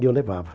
E eu levava.